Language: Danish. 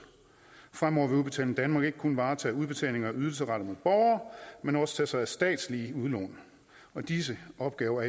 fremover vil udbetaling danmark ikke kun varetage udbetalinger af ydelser rettet mod borgere men også tage sig af statslige udlån og disse opgaver